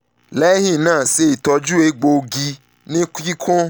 lẹhinna ṣe itọju egboogi ni kikun